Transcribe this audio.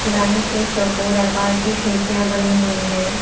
Line से चौकोर आकार की खिड़कियां बनी हुई हैं।